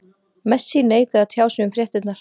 Messi neitaði að tjá sig um fréttirnar.